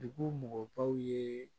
Dugu mɔgɔbaw ye